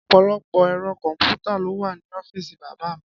Ọ̀pọ̀lọpọ̀ ẹ̀rọ kọ̀m̀pútà ló wà ní ọ́fíìsì bàbá mi.